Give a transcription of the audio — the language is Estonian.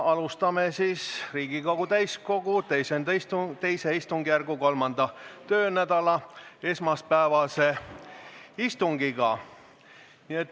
Alustame Riigikogu täiskogu II istungjärgu 3. töönädala esmaspäevast istungit.